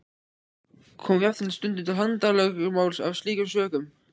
Kom jafnvel stundum til handalögmáls af slíkum sökum.